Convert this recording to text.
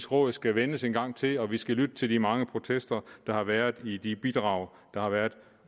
råd skal vendes en gang til og at vi skal lytte til de mange protester der har været i de bidrag der har været